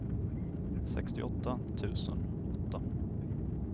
sextioåtta tusen åtta